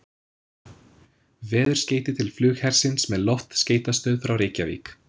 veðurskeyti til flughersins með loftskeytastöð frá Reykjavík